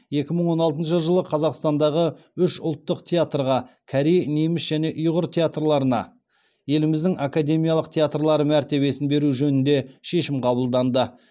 екі мың он алтыншы жылы қазақстандағы үш ұлттық театрға корей неміс және ұйғыр театрларына еліміздің академиялық театрлары мәртебесін беру жөнінде шешім қабылданды